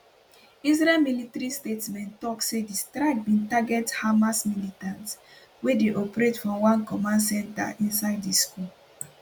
israeli military for statement tok say di strike bin target hamas militants wey dey operate from one command centre inside di school